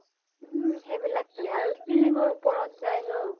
উম । সেইবিলাকেই । আৰু ceiling ৰ ওপৰত যায় ন ?